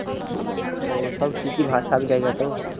ওহ সব কি কি ভাষা আমি জানিনা তো